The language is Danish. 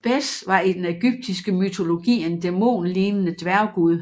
Bes var i den ægyptiske mytologi en dæmonlignende dværggud